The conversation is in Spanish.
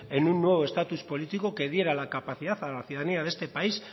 en un nuevo estatus político que diera la capacidad a la ciudadanía de este país